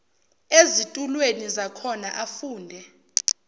ezitulweni zakhona afunde